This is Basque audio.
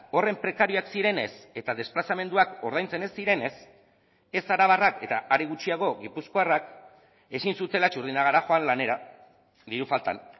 horren prekarioak zirenez eta desplazamenduak ordaintzen ez zirenez ez arabarrak eta are gutxiago gipuzkoarrak ezin zutela txurdinagara joan lanera diru faltan